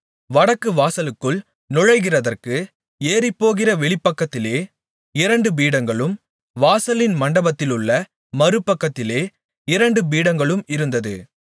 வடக்குவாசலுக்குள் நுழைகிறதற்கு ஏறிப்போகிற வெளிப்பக்கத்திலே இரண்டு பீடங்களும் வாசலின் மண்டபத்திலுள்ள மறுபக்கத்திலே இரண்டு பீடங்களும் இருந்தது